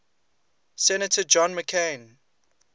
senator john mccain